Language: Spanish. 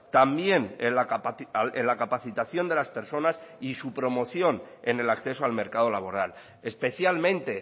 también en la capacitación de las personas y su promoción en el acceso al mercado laboral especialmente